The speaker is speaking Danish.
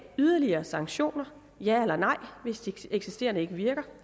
yderligere sanktioner ja eller nej hvis de eksisterende ikke virker